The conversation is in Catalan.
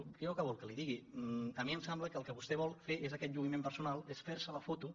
què vol que li digui a mi em sembla que el que vostè vol fer és aquest lluïment personal és fer se la foto